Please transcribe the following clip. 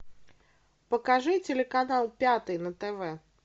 покажи телеканал пятый на тв